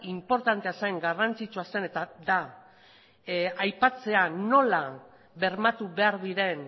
inportantea zen garrantzitsua zen eta da aipatzea nola bermatu behar diren